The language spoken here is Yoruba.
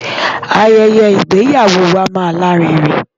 Ayẹyẹ ìgbéyàwó wa máa lárinrin.